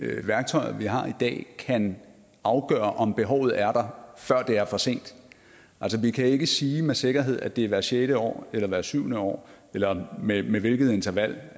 de værktøjer man har i dag kan afgøre om behovet er der før det er for sent altså vi kan ikke sige med sikkerhed at det er hvert sjette år eller hvert syvende år eller med med hvilket interval